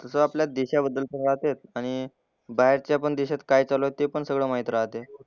एकतर आपल्या देशाबद्दल पण राहते आणि बाहेरच्या पण देशात काय चालू आहे ते पण सगळं माहित राहते.